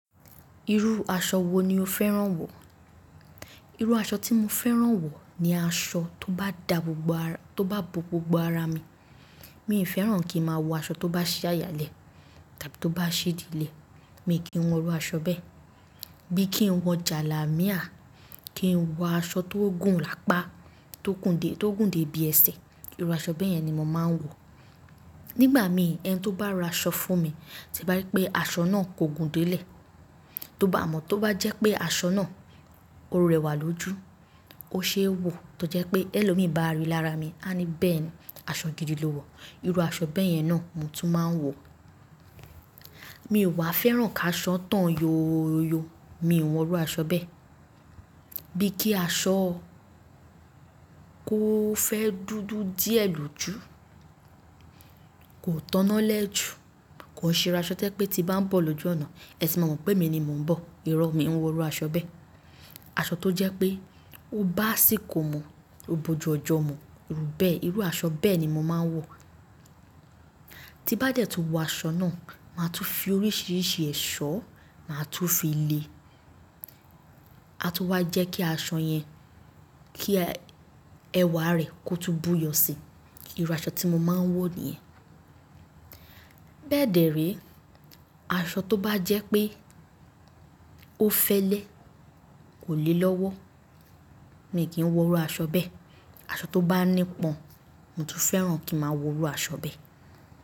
Irú aṣọ wo ni o fẹ́ràn wọ̀? Irú aṣọ tí mo fẹ́ràn wọ̀ ni aṣọ tó bá da gbogbo ará, tó bá bo gbogbo ara mi. Mi i fẹ́ràn kí ń máa wọ aṣọ tó bá ṣí àyà lẹ̀ tàbí tó bá ṣí ìdí lẹ̀, mi kì í wọ ru aṣọ bẹ́ẹ̀. Bí kí ń wọ jalámíà, kí ń wọ aṣọ tó gùn lápá, tó gùn dé, tó gùn dé bí ẹsẹ̀, irú aṣọ bẹ̀ yẹn ni mo máa ń wọ̀. Nígbà mí ẹni tó bá ra aṣọ fún mi, tí bá rí pé aṣọ náà kò gùn dé ilẹ̀, tó bá amọ̀ tó bá jẹ́ pé aṣọ náà ó rẹwà lójú, ó ṣe é wò tó jẹ́ pé ẹlòmíì bá ríi lára mi, á ní bẹ́ẹ̀ ni, aṣọ gidi lo wọ̀. Irú aṣọ bẹ́ẹ̀ yẹn náà mo tún máa ń wò. Mi ò wà fẹ́ràn ká aṣọ tán yóóyo, mi ò wọ aṣọ bẹ́ẹ̀. Bí kí aṣọ kó fẹ́ dúdú díẹ̀ lójú, kò tọná lẹ́ jù, kò ṣe irú aṣọ tí jẹ pé tí bá ń bọ̀ lójú ọ̀nà, ẹ tì máa mọ̀ pé èmi ni mò ń bọ̀, ìrọ́ mi n wọ irú aṣọ bẹ́ẹ̀. Aṣọ tó jẹ́ pé ó bá asìkó mu, ó bojù ọjọ́ mu, irú bẹ́ẹ̀, irú aṣọ bẹ́ẹ̀ ni mo máa ń wọ̀. Tí bá dẹ́ tó wọ aṣọ náà, màá tún fi oríṣiríṣi ẹ̀ṣọ́ màá tún fi le, a tó wá jẹ́ kí aṣọ yẹn, kí ẹwà rẹ̀ kó tún buyọ̀ sí i. Irú aṣọ tí mo máa ń wọ̀ nìyẹn. Bẹ́ẹ̀ dẹ̀ re, aṣọ tó bá jẹ́ pé ó fẹ́lẹ́, kò le lọ́wọ́, mi kì í wọ irú aṣọ bẹ́ẹ̀. Aṣọ tó bá nípọn, mo tún fẹ́ràn kín màá wọ irú aṣọ bẹ́ẹ̀.